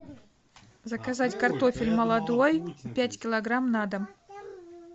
заказать картофель молодой пять килограмм на дом